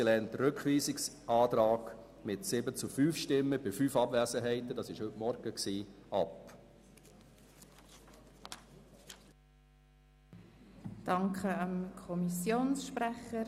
Den Rückweisungsantrag hat sie mit 7 zu 5 Stimmen bei 5 Abwesenheiten heute Morgen abgelehnt.